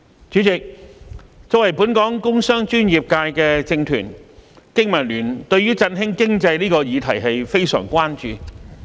主席，作為本港工商專業界的政團，經民聯對於振興經濟這個議題非常關注。